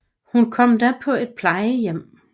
Hun kom da på et plejehjem